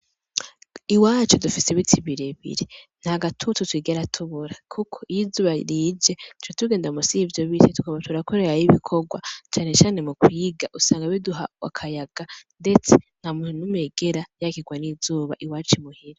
Iwacu dufise ibiti birebire ntagatutu twigera tubura kuko iyo izuba rije duca tugenda munsi yivyo biti tukaja turakorerayo ibikorwa cane cane mu kwiga usnga biduha akayaga ndetse ntanumwe yigera yakirwa n'izuba iwacu muhira.